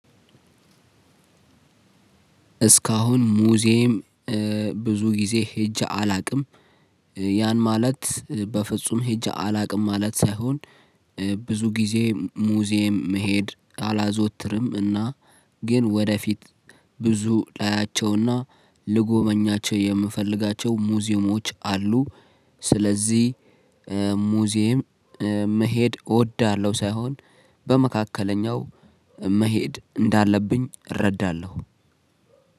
እስካሁን ሙዝዬም ብዙ ጊዜ ሄጄ አላውቅም። ያን ማለት በፍጹም ሄጄ አላውቅም ማለት ሳይሆን ብዙ ጊዜ ሙዚየም መሄድ አላዘወትርም። እና ግን ወደፊት ብዙ ላያቸውና ልጎበኛቸው የምፈልጋቸው ሙዚየሞች አሉ። ስለዚህ ሙዚየም መሄድ እወዳለሁ ሳይሆን በመካከለኛው መሄድ እንዳለብኝ እረዳለሁ።